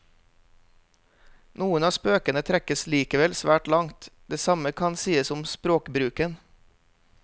Noen av spøkene trekkes likevel svært langt, det samme kan sies om språkbruken.